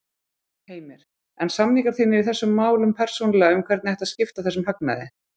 Heimir: En samningar þínir í þessum málum persónulega um hvernig ætti að skipta þessum hagnaði?